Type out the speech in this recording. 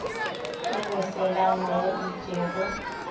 ke moselana wa itše go